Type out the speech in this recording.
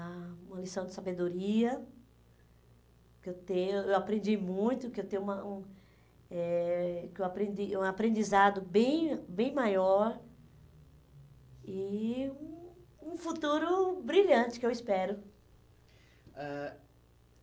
ah, uma lição de sabedoria, que eu tenho eu eu aprendi muito, que eu tenho uma um eh que eu aprendi, um aprendizado bem bem maior e um um futuro brilhante, que eu espero. Ãh